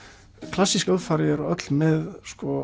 klassísk hljóðfæri eru öll með